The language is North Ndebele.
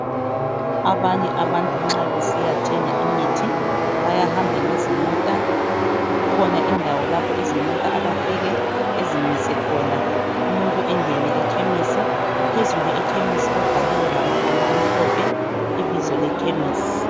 Abanye abantu nxa besiyathenga imithi bayahamba ngezimota kukhona indawo lapho izimota abafike bezimise khona. Umuntu engene ekhemisi phezulu ekhemisi kubhaliwe ngamabala amhlophe ibizo lekhemisi.